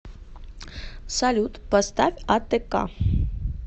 салют поставь атэка